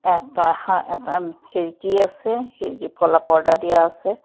এটা এখ এটা খিৰকী আছে খিৰকীত ক'লা পৰ্দা দিয়া আছে।